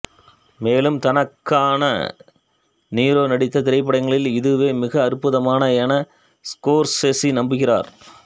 மேலும் தனக்காக De Niro நடித்த திரைப்படங்களில் இதுவே மிக அற்புதமானது என ஸ்கோர்செஸி நம்புகிறார்